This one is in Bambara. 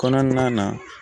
Kɔnɔna na